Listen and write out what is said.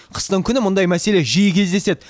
қыстың күні мұндай мәселе жиі кезеседі